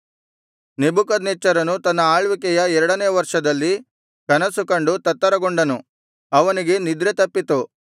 ನೆಬೂಕದ್ನೆಚ್ಚರನು ತನ್ನ ಆಳ್ವಿಕೆಯ ಎರಡನೆಯ ವರ್ಷದಲ್ಲಿ ಕನಸು ಕಂಡು ತತ್ತರಗೊಂಡನು ಅವನಿಗೆ ನಿದ್ರೆ ತಪ್ಪಿತು